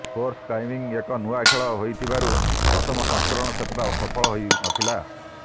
sports climbing ଏକ ନୂଆ ଖେଳ ହୋଇଥିବାରୁ ପ୍ରଥମ ସଂସ୍କରଣ ସେତେଟା ସଫଳ ହୋଇନଥିଲା